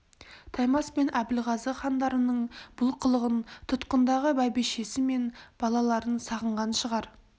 таймас пен әбілғазы хандарының бұл қылығын тұтқындағы бәйбішесі мен балаларын сағынған шығар